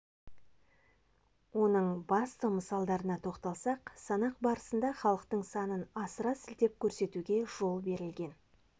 оның басты мысалдарына тоқталсақ санақ барысында халықтың санын асыра сілтеп көрсетуге жол берілген